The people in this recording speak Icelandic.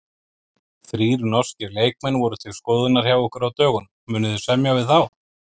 Þrír norskir leikmenn voru til skoðunar hjá ykkur á dögunum, munið þið semja við þá?